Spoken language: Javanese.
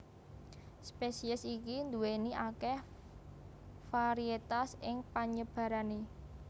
Spesies iki nduwèni akeh varietas ing panyebarane